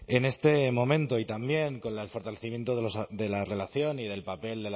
en este momento y también con el fortalecimiento de la relación y del papel